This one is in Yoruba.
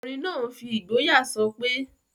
Ọkùnrin náà n fi ìgboyà sọpé...